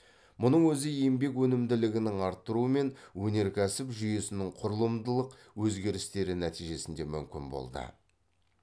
мұның өзі еңбек өнімділігінің артуы мен өнеркәсіп жүйесінің құрылымдық өзгерістері нәтижесінде мүмкін болды